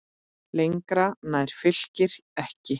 Lengra nær Fylkir ekki.